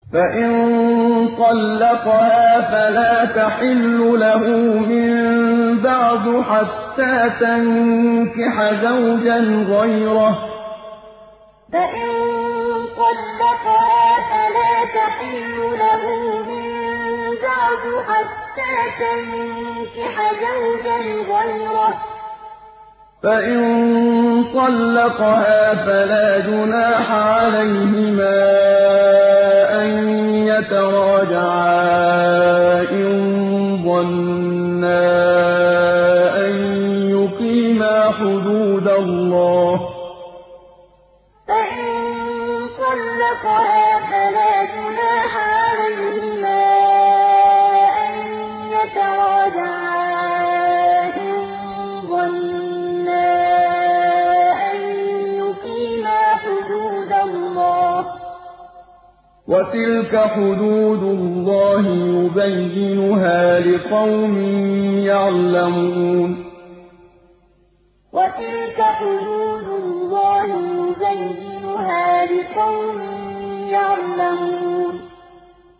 فَإِن طَلَّقَهَا فَلَا تَحِلُّ لَهُ مِن بَعْدُ حَتَّىٰ تَنكِحَ زَوْجًا غَيْرَهُ ۗ فَإِن طَلَّقَهَا فَلَا جُنَاحَ عَلَيْهِمَا أَن يَتَرَاجَعَا إِن ظَنَّا أَن يُقِيمَا حُدُودَ اللَّهِ ۗ وَتِلْكَ حُدُودُ اللَّهِ يُبَيِّنُهَا لِقَوْمٍ يَعْلَمُونَ فَإِن طَلَّقَهَا فَلَا تَحِلُّ لَهُ مِن بَعْدُ حَتَّىٰ تَنكِحَ زَوْجًا غَيْرَهُ ۗ فَإِن طَلَّقَهَا فَلَا جُنَاحَ عَلَيْهِمَا أَن يَتَرَاجَعَا إِن ظَنَّا أَن يُقِيمَا حُدُودَ اللَّهِ ۗ وَتِلْكَ حُدُودُ اللَّهِ يُبَيِّنُهَا لِقَوْمٍ يَعْلَمُونَ